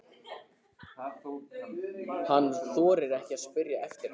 Hann þorir ekki að spyrja eftir henni.